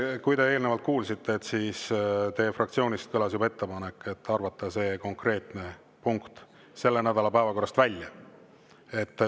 Nagu te eelnevalt kuulsite, siis teie fraktsioonist kõlas juba ettepanek arvata see konkreetne punkt selle nädala päevakorrast välja.